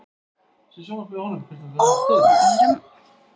er hrópað.